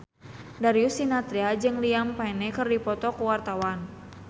Darius Sinathrya jeung Liam Payne keur dipoto ku wartawan